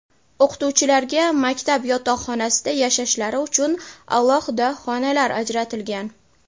O‘qituvchilarga maktab yotoqxonasida yashashlari uchun alohida xonalar ajratilgan.